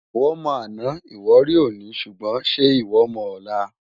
Iwò mò àná iwò ri óni ṣúgbòn ṣè iwò mò òlá?